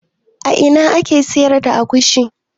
A ina ake sayar da agushi?